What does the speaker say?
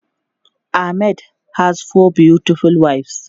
Ahmed has four beautiful wives.